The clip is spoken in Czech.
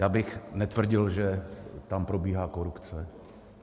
Já bych netvrdil, že tam probíhá korupce.